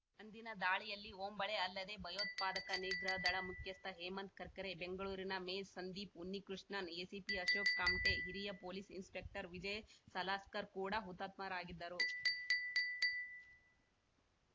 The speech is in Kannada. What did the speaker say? ಅಂದಿನ ದಾಳಿಯಲ್ಲಿ ಓಂಬಳೆ ಅಲ್ಲದೇ ಭಯೋತ್ಪಾದಕ ನಿಗ್ರಹ ದಳ ಮುಖ್ಯಸ್ಥ ಹೇಮಂತ್‌ ಕರ್ಕರೆ ಬೆಂಗಳೂರಿನ ಮೇ ಸಂದೀಪ್‌ ಉನ್ನಿಕೃಷ್ಣನ್‌ ಎಸಿಪಿ ಅಶೋಕ್‌ ಕಾಮ್ಟೆ ಹಿರಿಯ ಪೊಲೀಸ್‌ ಇನ್ಸ್‌ಪೆಕ್ಟರ್‌ ವಿಜಯ್‌ ಸಲಾಸ್ಕರ್‌ ಕೂಡ ಹುತಾತ್ಮರಾಗಿದ್ದರು